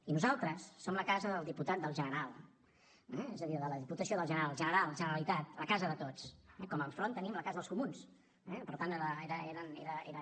i nosaltres som la casa del diputat del general eh és a dir de la diputació del general general generalitat la casa de tots com enfront tenim la casa dels comuns per tant era